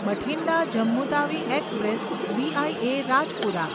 Bathinda Jammu Tawi express via Rajpura